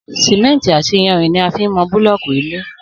Sìmẹ́ǹtì àti iyanrìn ni a fi ń mọ búlọ́ọ̀kì ilé